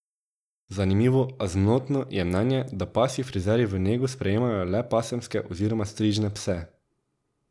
Zanimivo, a zmotno je mnenje, da pasji frizerji v nego sprejemajo le pasemske oziroma strižne pse.